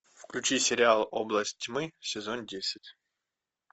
включи сериал область тьмы сезон десять